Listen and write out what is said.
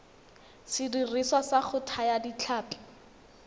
sediriswa sa go thaya ditlhapi